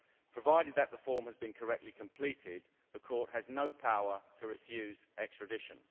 Provided that the form has been correctly completed, the court has no power to refuse extradition.